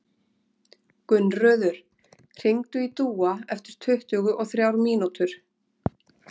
Gunnröður, hringdu í Dúa eftir tuttugu og þrjár mínútur.